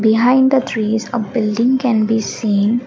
behind the trees a building can be seen.